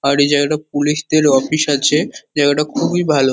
আর এই জায়গাটা পুলিশ -দের অফিস আছে জায়গাটা খুবই ভালো।